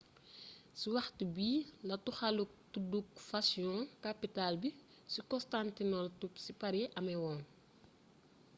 ci waxtu bi la toxaluk tudduk fashion capital bi ci constantinople ci paris améwoon